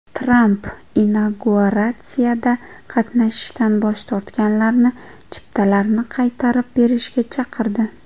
Tramp inauguratsiyada qatnashishdan bosh tortganlarni chiptalarni qaytarib berishga chaqirdi.